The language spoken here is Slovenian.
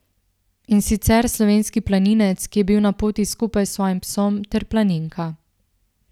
In sicer, slovenski planinec, ki je bil na poti skupaj s svojim psom, ter planinka.